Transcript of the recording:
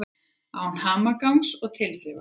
Án hamagangs og tilþrifa.